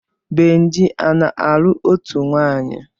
Benji ana-alụ ótù nwaanyi?